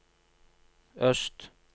øst